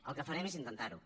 el que farem és intentar ho